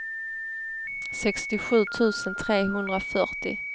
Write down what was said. sextiosju tusen trehundrafyrtio